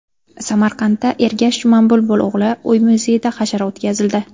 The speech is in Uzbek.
Samarqandda Ergash Jumanbulbul o‘g‘li uy-muzeyida hashar o‘tkazildi.